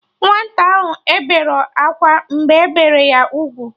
Nwata ahụ eberọ akwa mgbe ebere ya ugwu